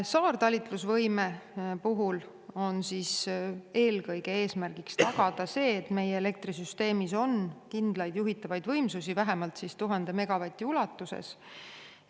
Saartalitlusvõime puhul on eesmärk eelkõige tagada see, et meie elektrisüsteemis on kindlaid juhitavaid võimsusi vähemalt 1000 megavati ulatuses.